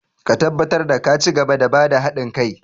Ka tabbatar da ka cigaba da ba da hadin kai!